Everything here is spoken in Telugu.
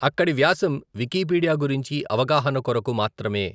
అక్కడి వ్యాసం వికీపీడియా గురించి అవగాహన కొరకు మాత్రమే.